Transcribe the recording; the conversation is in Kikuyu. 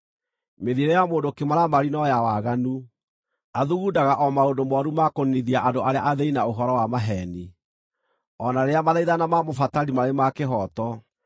Mĩthiĩre ya mũndũ kĩmaramari no ya waganu, athugundaga o maũndũ mooru ma kũniinithia andũ arĩa athĩĩni na ũhoro wa maheeni, o na rĩrĩa mathaithana ma mũbatari marĩ ma kĩhooto.